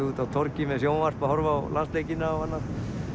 úti á torgi með sjónvarp að horfa á landsleikina og annað